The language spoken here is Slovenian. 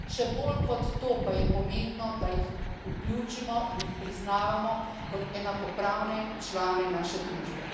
Še bolj kot to pa je pomembno, da jih vključimo in jih priznavamo kot enakopravne člane naše družbe.